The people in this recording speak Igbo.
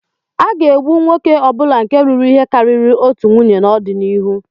A ga-egbu nwoke ọ bụla nke lụrụ ihe karịrị otu nwunye n'ọdịnihu.